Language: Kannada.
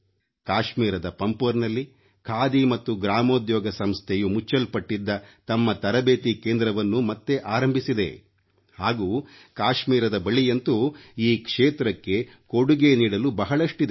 ಕಾಶ್ಮೀರದ ಪಂಪೋರ್ನಲ್ಲಿ ಖಾದಿ ಮತ್ತು ಗ್ರಾಮೊದ್ಯೋಗ ಸಂಸ್ಥೆಯು ಮುಚ್ಚಲ್ಪಟ್ಟಿದ್ದ ತಮ್ಮ ತರಬೇತಿ ಕೇಂದ್ರವನ್ನು ಮತ್ತೆ ಆರಂಭಿಸಿದೆ ಹಾಗೂ ಕಾಶ್ಮೀರದ ಬಳಿಯಂತೂ ಈ ಕ್ಷೇತ್ರಕ್ಕೆ ಕೊಡುಗೆ ನೀಡಲು ಬಹಳಷ್ಟಿದೆ